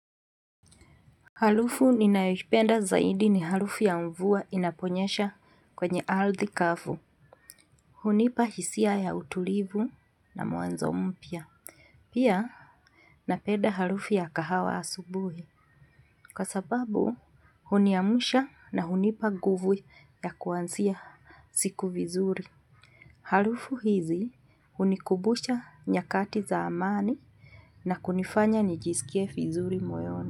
Halufu ninayohipenda zaidi ni halufu ya mvua inaponyesha kwenye aldhi kafu. Hunipa hisia ya utulivu na mwanzo mpya. Pia, napenda halufu ya kahawa asubuhi. Kwa sababu, huniamusha na hunipa guvu ya kuanzia siku vizuri. Halufu hizi, hunikubusha nyakati za amani na kunifanya nijisikie vizuri moyoni.